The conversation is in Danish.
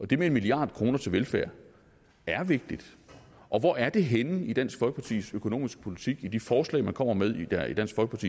det med en milliard kroner til velfærd er vigtigt og hvor er det henne i dansk folkepartis økonomiske politik i de forslag man kommer med